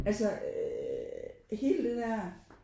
Altså øh hele det der